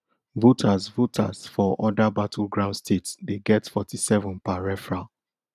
voters voters for oda battleground states dey get forty-seven per referral